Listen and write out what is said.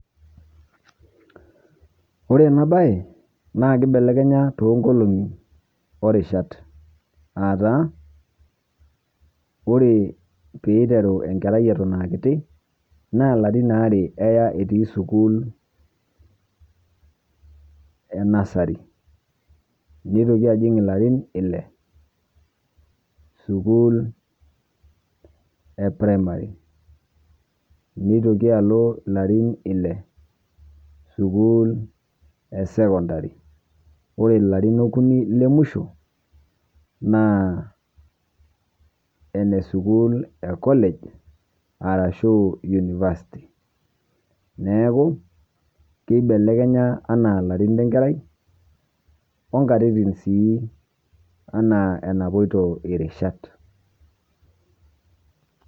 Ore ena baye naa keibelekenya to nkolong'i o rishaat, ataa ore pee iteruu nkeraai etoon akitii naa laarin aare eyaa etii sukuul e nasari. Neitokii ajiing laarin ilee sukuul e premari. Neitokii aloo laarin ilee sukuul e sekondari. Ore laarin okunii le muishoo naa ene sukuul e college arashu university. Neeku keibelekenya ana laarin le nkerrai onkatitin sii ana enapoitoo rishaat.